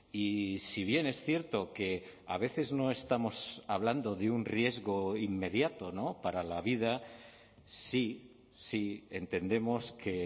y si bien es cierto que a veces no estamos hablando de un riesgo inmediato para la vida sí sí entendemos que